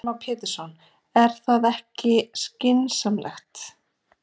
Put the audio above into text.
Heimir Már Pétursson: Er það ekki skynsamlegt?